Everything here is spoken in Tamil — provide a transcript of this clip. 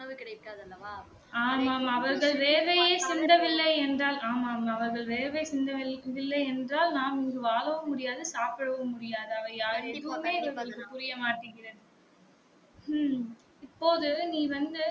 ஆமா ஆமா அவர்கள் வேர்வை சிந்தவில்லை என்றால் ஆமாம் ஆமாம் அவர்கள் வேர்வை சிந்தவில்லை என்றால் நாம் இங்கு வாழவும் முடியாது சாப்பிடவும் முடியாது அது எதுவுமே இவர்களுக்கு புரியமாட்டுக்கிறது உம் இப்போது நீ வந்து